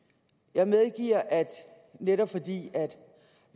jeg medgiver at netop fordi